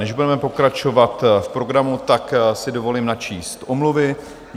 Než budeme pokračovat v programu, tak si dovolím načíst omluvy.